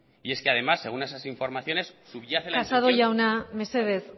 y es que además según esas informaciones subyace casado jauna mesedez